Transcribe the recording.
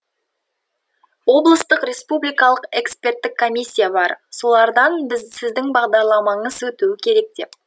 облыстық республикалық эксперттік комиссия бар солардан сіздің бағдарламаңыз өтуі керек деп